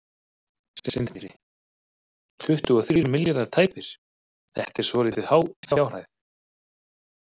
Sindri: Tuttugu og þrír milljarðar tæpir, þetta er svolítið há fjárhæð?